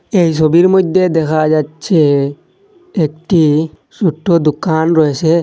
এই সবির মধ্যে দেখা যাচ্ছে একটি ছোট্ট দোকান রয়েসে।